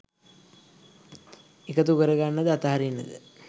එකතු කරගන්නද අතහරින්නද?